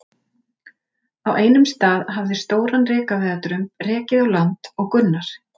Á einum stað hafði stóran rekaviðardrumb rekið á land og Gunnar